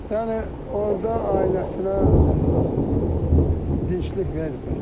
Yəni orda ailəsinə dinclik vermirdi.